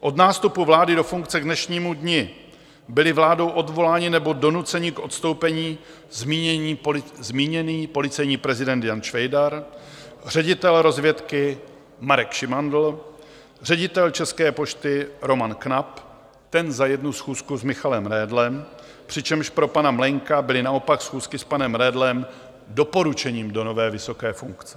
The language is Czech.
Od nástupu vlády do funkce k dnešnímu dni byli vládou odvoláni nebo donuceni k odstoupení zmíněný policejní prezident Jan Švejdar, ředitel rozvědky Marek Šimandl, ředitel České pošty Roman Knap - ten za jednu schůzku s Michalem Redlem, přičemž pro pana Mlejnka byly naopak schůzky s panem Redlem doporučením do nové vysoké funkce.